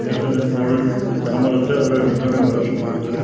ख बडू स कमरा च और वैमा दुनिया भरा सामान धर्युं।